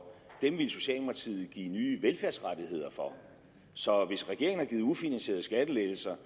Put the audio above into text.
ville socialdemokratiet give nye velfærdsrettigheder for så hvis regeringen har givet ufinansierede skattelettelser